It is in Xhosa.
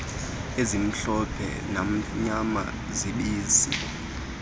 ezimhlophe namnyama zobisi